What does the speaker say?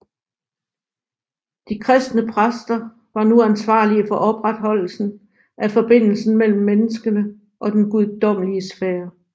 De kristne præster var nu ansvarlige for opreholdelsen af forbindelsen mellem menneskene og den guddommelige sfære